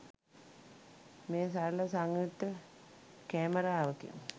මෙය සරල සංයුක්ත කැමරාවකි